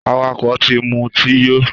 Àwàkó tí mú ti yò